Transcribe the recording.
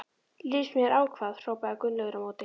Líst mér á hvað? hrópaði Gunnlaugur á móti.